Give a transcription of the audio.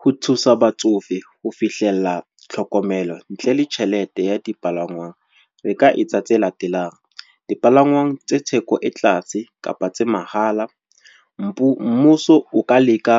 Ho thusa batsofe ho fihlella tlhokomelo, ntle le tjhelete ya dipalangwang. Re ka etsa tse latelang, dipalangwang tse theko e tlatse kapa tsa mahala. Mmuso o ka leka